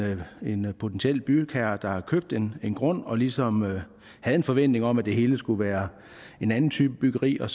potentiel bygherre der har købt en en grund og ligesom havde en forventning om at det hele skulle være en anden type byggeri og